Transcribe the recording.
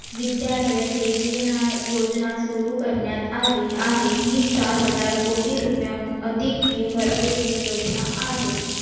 विद्यालय दीवेना योजना सुरू करण्यात आली आहे. ही चार हजार कोटी रुपयाहून अधिक fee भरलेली योजना आहे.